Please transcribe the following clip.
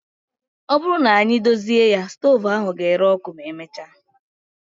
Ọ bụrụ na anyị edozi ya, stoovu ahụ ga-ere ọkụ ma emechaa